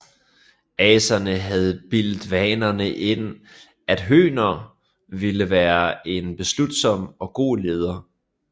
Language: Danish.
Aserne havde bildt vanerne ind at Høner ville være en beslutsom og god leder